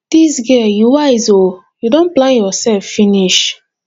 dis girl you wise ooo you don plan yourself finish